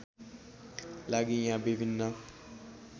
लागि यहाँ विभिन्न